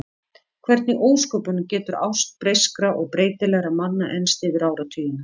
Hvernig í ósköpunum getur ást breyskra og breytilegra manna enst yfir áratugina?